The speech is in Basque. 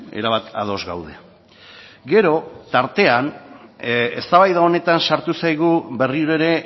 erabat ados gaude gero tartean eztabaida honetan sartu zaigu berriro ere